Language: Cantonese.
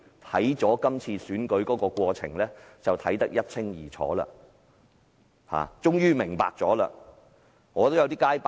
不過，這次選舉過程卻令他看得一清二楚，終於完全明白。